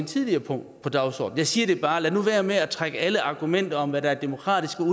tidligere punkt på dagsordenen siger bare lad nu være med at trække alle argumenterne med hvad der er demokratisk